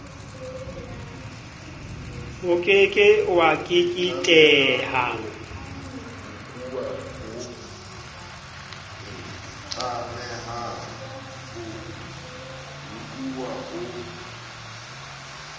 o ke ke wa keketeha